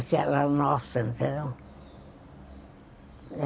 Aquela nossa, entendeu?